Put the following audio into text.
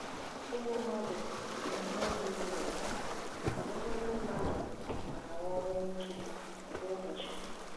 Igbu mmadụ bụ ihe zuru ụwa, ọtụtụ ndị mmadụ na-anwụ ọnwụ ike kwa ụbọchị.